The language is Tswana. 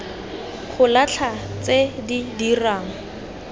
go latlha tse di dirang